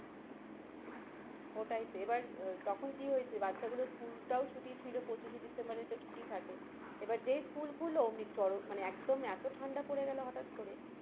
ওটাই তো এবার তখন কি হয়েছে বাচ্চা গুলোর school টাও ছুটি ছিল পঁচিশে December এ একটা ছুটি থাকে এবার যেই school খুলল ওমনি চরম মানে একদম এতো ঠাণ্ডা পড়ে গেলো হঠাৎ করে,